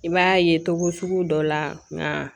I b'a ye togo sugu dɔ la nka